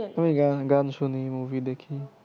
আমি গান শুনি মুভি দেখি।